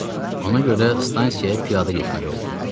Ona görə stansiyaya piyada getməli oldum.